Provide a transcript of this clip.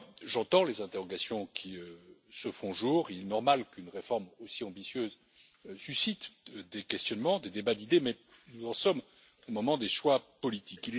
J'entends les interrogations qui se font jour, et il est normal qu'une réforme aussi ambitieuse suscite des questionnements, des débats d'idées, mais nous en sommes au moment des choix politiques.